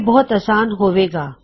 ਇਹ ਬਹੁਤ ਅਸਾਨ ਹੋਵੇਗਾ